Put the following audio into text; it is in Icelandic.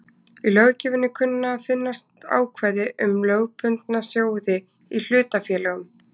Í löggjöfinni kunna að finnast ákvæði um lögbundna sjóði í hlutafélögum.